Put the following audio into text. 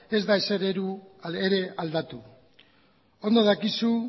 ez da ezer ere aldatu ondo dakizu